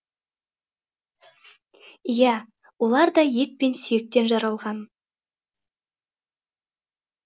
иә олар да ет пен сүйектен жаралған